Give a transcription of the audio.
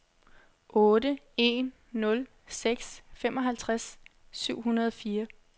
otte en nul seks femoghalvtreds syv hundrede og fire